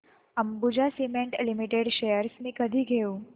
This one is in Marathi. अंबुजा सीमेंट लिमिटेड शेअर्स मी कधी घेऊ